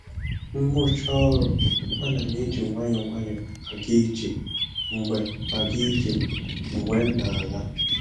M rụchaa ọrụ, ana m eji nwayọọ nwayọọ aga ije mgbe aga ije mgbe m na-ala